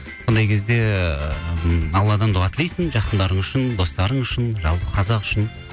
сондай кезде м алладан дұға тілейсің жақындарың үшін достарың үшін жалпы қазақ үшін